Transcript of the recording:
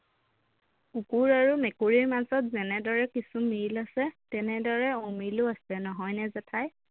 কুকুৰ আৰু মেকুৰীৰ মাজত যেনেদৰে কিছু মিল আছে তেনেদৰে অমিলো আছে নহয়নে জেঠাই